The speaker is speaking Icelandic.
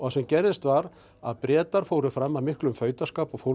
sem gerðist var að Bretar fóru fram af miklum fautaskap og